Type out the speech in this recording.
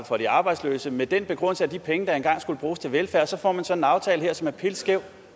for de arbejdsløse med den begrundelse at de penge da skulle bruges til velfærd og så får man sådan aftale her som er pilskæv